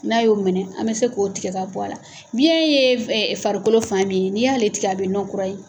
N'a y'o minɛ an bɛ se k'o tigɛ k'a bɔ a la. Biyɛn ye f farikolo fan min ye n'i y'ale tigɛ a bɛ nɔn kura ye.